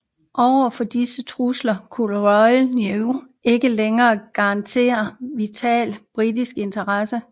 Overfor disse trusler kunne Royal Navy ikke længere garantere vitale britiske interesser